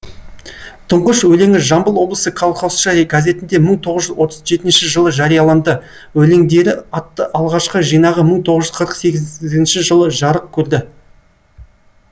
тұңғыш өлеңі жамбыл облысы колхозшы газетінде мың тоғыз жүз отыз жетінші жылы жарияланды өлеңдері атты алғашқы жинағы мың тоғыз жүз қырық сегізінші жылы жарық көрді